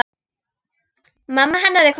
Mamma hennar er komin heim.